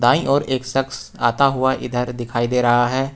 दाईं और एक शख्स आता हुआ इधर दिखाई दे रहा है।